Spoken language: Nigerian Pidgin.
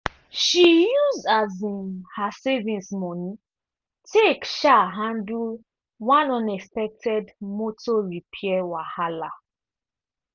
she use um her savings money take um handle one unexpected motor repair wahala.